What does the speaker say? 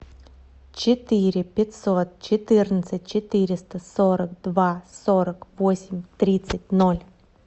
четыре пятьсот четырнадцать четыреста сорок два сорок восемь тридцать ноль